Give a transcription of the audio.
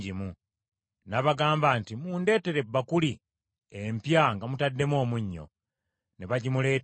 N’abagamba nti, “Mundeetere ebbakuli empya nga mutaddemu omunnyo.” Ne bagimuleetera.